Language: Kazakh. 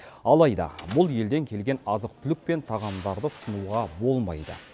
алайда бұл елден келген азық түлік пен тағамдарды тұтынуға болмайды